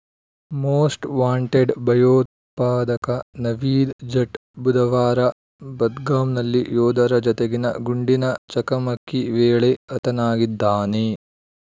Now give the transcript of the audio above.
most wanted ಭಯೋತ್ಪಾದಕ ನವೀದ್‌ ಜಟ್‌ ಬುಧವಾರ ಬದ್ಗಾಮ್‌ನಲ್ಲಿ ಯೋಧರ ಜತೆಗಿನ ಗುಂಡಿನ ಚಕಮಕಿ ವೇಳೆ ಹತನಾಗಿದ್ದಾನೆ